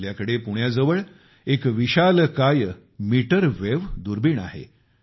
आपल्याकडे पुण्याजवळ एक विशालकाय मीटरवेव्ह दुर्बीण आहे